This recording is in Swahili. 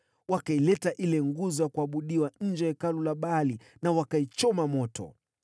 Wakaileta ile nguzo ya kuabudiwa nje ya hekalu la Baali, na wakaichoma moto.